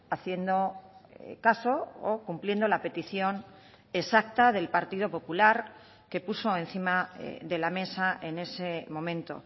haciendo caso o cumpliendo la petición exacta del partido popular que puso encima de la mesa en ese momento